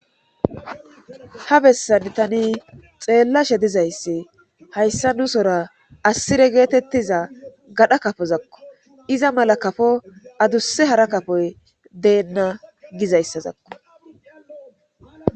ha bessan tani xeellashe dizayssi hayssa nu sora assire geetettiza gadha kafozakko iza mala kafo adusse hara kafoy deenna gizayssazakko